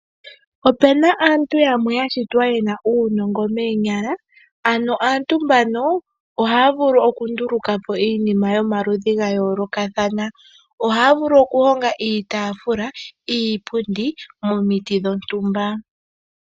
Opena aantu yamwe yashitwa yena uunongo moonyala . Aantu mbano ohaya vulu oku ndulukapo iinima yomaludhi ga yoolokathana. Ohaya vulu okuhonga iitafula, iipundi momiti dhontumba.